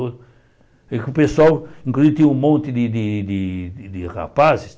E com o pessoal, inclusive, tinha um monte de de de de rapazes.